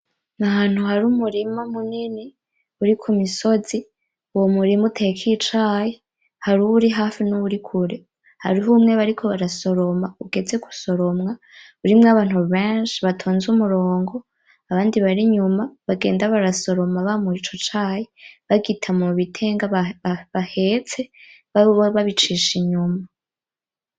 N'ahantu hari umurima munini ,uri ku misozi, uwo murima uteyeko icayi, harih' uwuri hafi n'uwuri kure, hariho umwe bariko barasoroma, ugeze gusoromwa urimwo abantu benshi batonze umurongo ,abandi barinyuma bagenda barasoroma bamura Ico cayi bagita mubitenga bahetse mugabo bobo babicisha inyuma